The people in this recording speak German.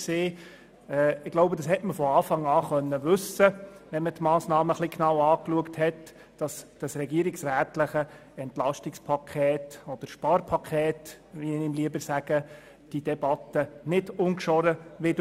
Man hätte es von Anfang an wissen können, dass das regierungsrätliche EP – oder Sparpaket, wie ich es lieber nenne – diese Debatte nicht ungeschoren überstehen wird.